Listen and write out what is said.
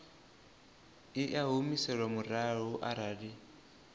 i a humiselwa murahu arali